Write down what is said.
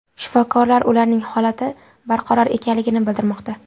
Shifokorlar ularning holati barqaror ekanligini bildirmoqda.